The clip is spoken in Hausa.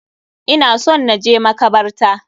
Ina son na je makabarta.